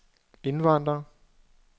indvandrere